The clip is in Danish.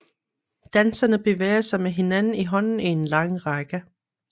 Danserne bevæger sig med hinanden i hånden i en lang række